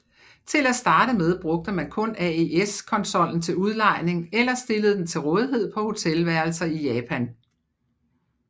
Til at starte med brugte man kun AES konsollen til udlejning eller stillede den til rådighed på hotelværelser i Japan